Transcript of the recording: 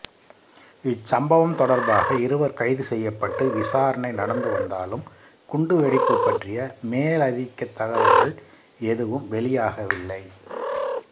இச்சம்பவம் தொடர்பாக இருவர் கைது செய்யப்பட்டு விசாரணை நடந்து வந்தாலும் குண்டுவெடிப்பு பற்றிய மேலதிகத் தகவல்கள் எதுவும் வெளியாகவில்லை